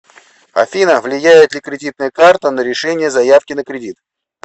афина влияет ли кредитная карта на решения заявки на кредит